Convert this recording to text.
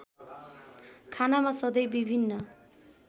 खानामा सधैँ विभिन्न